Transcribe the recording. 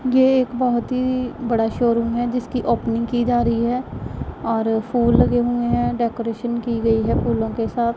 ये एक बहोत ही बड़ा शोरूम है जिसकी ओपनिंग की जा रही है और फूल लगे हुए हैं डेकोरेशन की गई है फूलों के साथ--